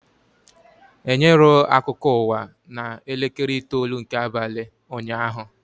Enyerọ akụkọ ụwa na elekere itoolu nke abalị ụnyaahụ